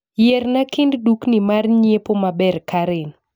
Yierna kind dukni mar nyiepo maber karen